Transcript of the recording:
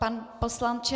Pane poslanče.